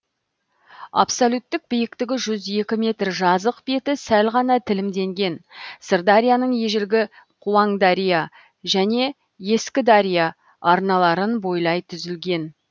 абсолюттік биіктігі жүз екі метр жазық беті сәл ғана тілімденген сырдарияның ежелгі қуаңдария және ескідария арналарын бойлай түзілген